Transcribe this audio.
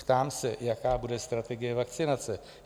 Ptám se, jaká bude strategie vakcinace?